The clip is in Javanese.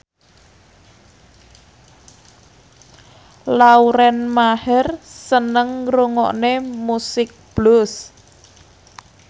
Lauren Maher seneng ngrungokne musik blues